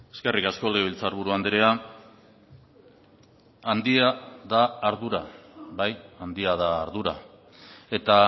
eskerrik asko legebiltzarburu andrea handia da ardura bai handia da ardura eta